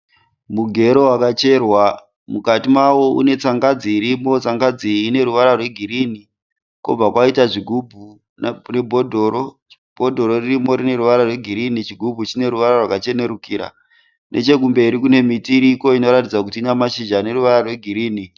Mugero wakacherwa. Mukati mawo une tsangadzi irimo. Tsangadzi iyi ine ruvara rwegirini kobva kwaita zvigubhu nebhodhoro. Bhodhoro ririmo rine ruvara rwegirini chigubhu chine ruvara rwakachenerukira. Nechekumberi kune miti iriko inoratidza kuti ina mashizha ane ruvara rwegirini.